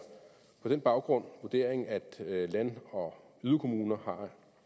på den baggrund vurderingen at land og yderkommuner